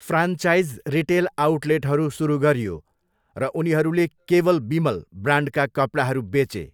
Franchise retail आउटलेटहरू सुरु गरियो र उनीहरूले 'केवल बिमल' ब्रान्डका कपडाहरू बेचे।